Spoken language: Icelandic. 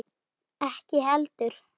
Ekki heldur